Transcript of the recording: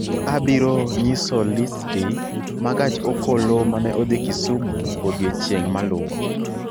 Abiro nyiso listi ma gach okolomane odhi Kusimun odiechieng' maluwo